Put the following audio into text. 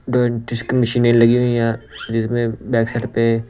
डोड disc मशीनें लगी हुई है। यहां जिसमे बैक साइड पे--